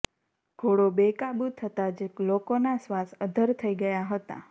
ઘોડો બેકાબૂ થતા જ લોકોના શ્વાસ અદ્ધર થઈ ગયા હતા